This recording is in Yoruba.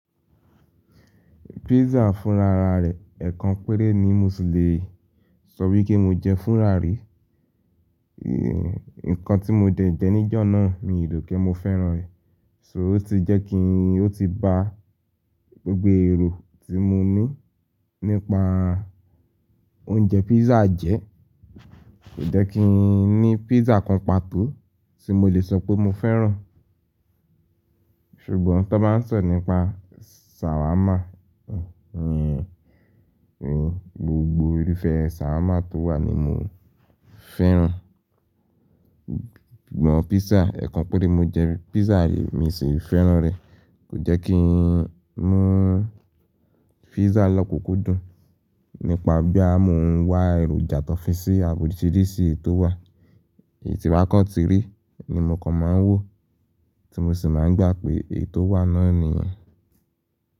Pizza fún rara rẹ̀, ẹ̀kan péré ni Mùsi le sọ wí pé mo jẹ fúnrà rí. Ekan tí mo dẹ jẹ níjọ̀ náà mi ròpẹ̀ mo fẹ́ràn rẹ̀. So otí jẹ́kín ó ti ba gbogbo èrò tí mo ní nípa oúnjẹ pizza jẹ́. Kò jẹ́kí ì ní pizza kan pàtó tí mo lè sọ pé mo fẹ́ràn. Ṣùgbọ́n tí wọ́n bá ń sọ nípa sàwámà, gbogbo irúfẹ́ sàwámà tó wà ni mo fẹ́ràn. Ṣùgbọ́n pizza, ẹ̀kan péré mo jẹ pizza rí, mi sì fẹ́ràn rẹ̀. Kò jẹ́kí mú pizza lọ́kùkú dùn, nípa bí à mo ń wá èròjà tọ́fin sí àbòsídíìsì tó wà. Èyí tí wákọ̀ tìrí ni mò kan máa ń wò tí mo sì máa ń gbà pé èyí tó wà náà nìyẹn.